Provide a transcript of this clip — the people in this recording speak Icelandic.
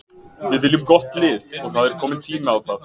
Við viljum gott lið og það er kominn tími á það.